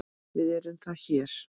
VIÐ ERUM ÞAR HÉR